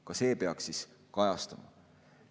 Ka see peaks kajastuma.